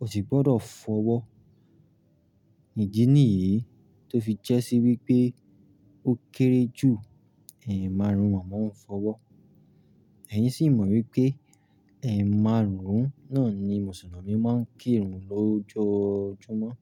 o sì gbọ́dọ̀ fọwọ́. Ìdí nìyìí tó fi jẹ́ sí wípé ó kéré jù ẹ̀márùn-ún mo máa ń fọwọ́. Ẹ̀yin sì mọ̀ wípé ẹ̀ márùn-ún náà ni Mùsùlùmí máa ń kírun lójoojúmọ́.